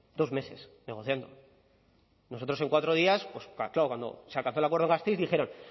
dos meses negociando nosotros en cuatro días pues cuando se alcanzó el acuerdo en gasteiz dijeron